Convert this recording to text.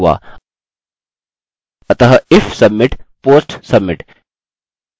अतः if submit post submit